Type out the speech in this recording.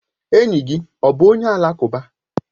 Enyi gị ọ bụ onye alakụba?